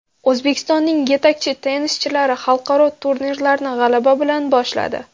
O‘zbekistonning yetakchi tennischilari xalqaro turnirlarni g‘alaba bilan boshladi.